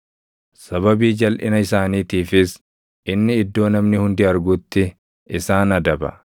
Sababii jalʼina isaaniitiifis inni iddoo namni hundi argutti isaan adaba;